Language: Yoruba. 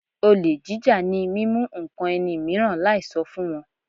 Olè jíjà ni mímú ǹkan ẹni mìíràn láì sọ fún wọn.